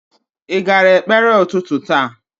Ị gara ekpere ụtụtụ taa?